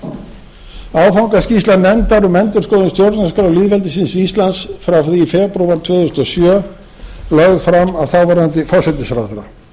er áfangaskýrsla nefndar um endurskoðun stjórnarskrár lýðveldisins íslands frá því í febrúar tvö þúsund og sjö lögð fram af þáverandi forsætisráðherra í